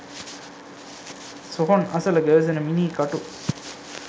සොහොන් අසල ගැවසෙන මිනී කටු